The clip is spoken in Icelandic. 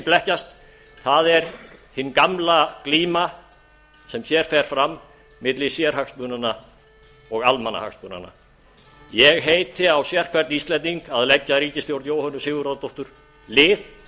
blekkjast það er hin gamla glíma sem hér fer fram milli sérhagsmunanna og almannahagsmunanna ég heiti á sérhvern íslending að leggja ríkisstjórn jóhönnu sigurðardóttur lið